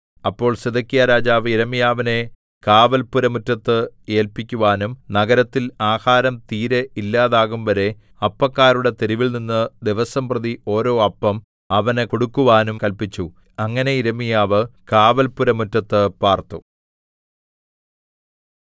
അപ്പോൾ സിദെക്കീയാരാജാവ് യിരെമ്യാവിനെ കാവൽപ്പുരമുറ്റത്ത് ഏല്പിക്കുവാനും നഗരത്തിൽ ആഹാരം തീരെ ഇല്ലാതാകുംവരെ അപ്പക്കാരുടെ തെരുവിൽനിന്ന് ദിവസംപ്രതി ഓരോ അപ്പം അവന് കൊടുക്കുവാനും കല്പിച്ചു അങ്ങനെ യിരെമ്യാവ് കാവൽപ്പുരമുറ്റത്ത് പാർത്തു